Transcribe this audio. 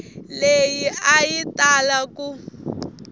leyi a yi tala ku